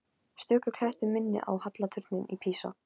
Stöku klettur minnti á halla turninn í Písa.